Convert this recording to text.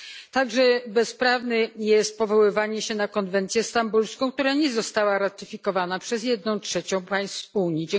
Także bezprawne jest powoływanie się na konwencję stambulską, która nie została ratyfikowana przez jedną trzecią państw Unii.